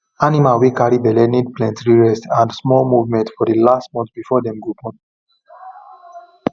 animal wey carry belle need plenty rest and small movement for the last month before dem go born